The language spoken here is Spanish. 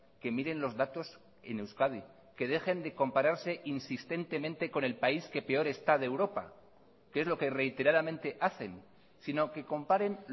que miren los datos en euskadi que dejen de compararse insistentemente con el país que peor está de europa que es lo que reiteradamente hacen sino que comparen